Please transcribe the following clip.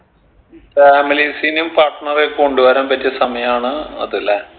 families നും partner എ കൊണ്ടുവരാൻ പറ്റിയ സമയാണ് അത് ലെ